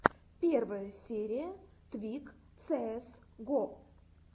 первая серия твик цээс го